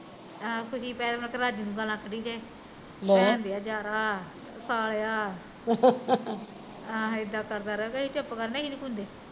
ਆਹੋ ਕੁਛ ਨੀ ਮਿਲਦਾ ਰਾਜੂ ਨੂੰ ਗਾਲਾ ਕੱਡਹੀਂ ਜਾਏ ਭੈਣ ਦੇ ਯਾਰਾਂ ਆਹੋ ਇੱਦਾਂ ਕਰਦਾ ਰਹਿੰਦਾ ਅਸੀਂ ਚੁੱਪ ਕਰ ਜਾਂਦੇ ਅਸੀਂ ਨੀ ਕੁਛ ਕੁੰਦੇ